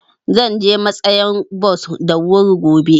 Zan je matsayan bos da wuri gobe.